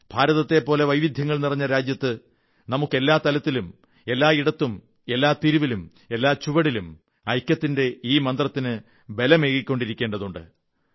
ഭാരതത്തെപ്പോലെ വൈവിധ്യങ്ങൾ നിറഞ്ഞ രാജ്യത്ത് നമുക്ക് എല്ലാ തലത്തിലും എല്ലാ ഇടത്തും എല്ലാ തിരിവിലും എല്ലാ ചുവടിലും ഐക്യത്തിന്റെ ഈ മന്ത്രത്തിന് ബലമേകിക്കൊണ്ടിരിക്കേണ്ടതുണ്ട്